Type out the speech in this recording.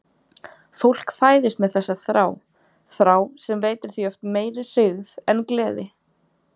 Fólk fæðist með þessa þrá, þrá sem veitir því oft meiri hryggð en gleði.